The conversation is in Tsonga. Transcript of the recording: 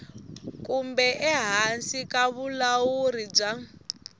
kumbe ehansi ka vulawuri bya